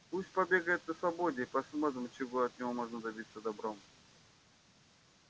пусть побегает на свободе и посмотрим чего от него можно добиться добром